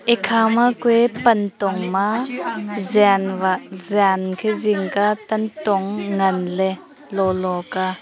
ekha ma kue pan tong ma jan wa jan enkhe zing ka tantong ngan le lolo ka